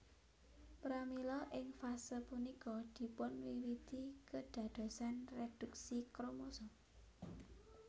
Pramila ing fase punika dipunwiwiti kedadosan reduksi kromosom